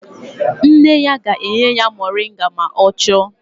Nne ya ga-enye ya moringa ma ọ chọọ